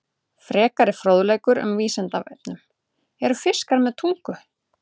Frekari fróðleikur um Vísindavefnum: Eru fiskar með tungu?